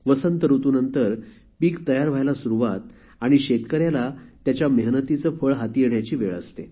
वसंत ऋतुनंतर पीक तयार व्हायला सुरुवात आणि शेतकऱ्याला त्याच्या मेहनतीचे फळ हाती येण्याची वेळ आहे